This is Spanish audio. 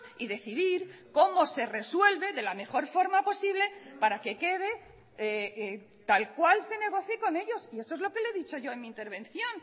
y decidir cómo se resuelve de la mejor forma posible para que quede tal cual se negocie con ellos y eso es lo que le he dicho yo en mi intervención